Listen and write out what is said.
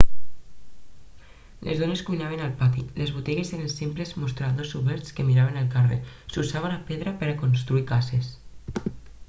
les dones cuinaven al pati les botigues eren simples mostradors oberts que miraven el carrer s'usava la pedra per a construir cases